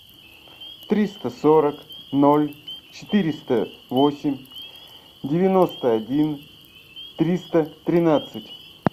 триста сорок ноль четыреста восемь девяносто один триста тринадцать